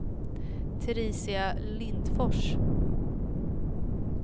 Teresia Lindfors